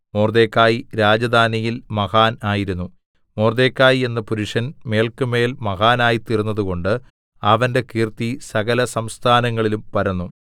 മൊർദെഖായി രാജധാനിയിൽ മഹാൻ ആയിരുന്നു മൊർദെഖായി എന്ന പുരുഷൻ മേല്ക്കുമേൽ മഹാനായിത്തീർന്നതുകൊണ്ട് അവന്റെ കീർത്തി സകലസംസ്ഥാനങ്ങളിലും പരന്നു